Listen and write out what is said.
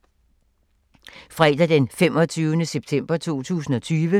Fredag d. 25. september 2020